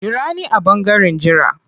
Jira ni a ɓangaren jira.